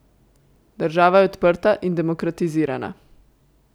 Država je odprta in demokratizirana.